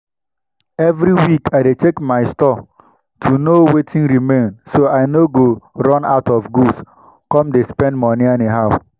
every week i dey check my store to know wetin remain so i no go run out of goods come go dey spend moni anyhow.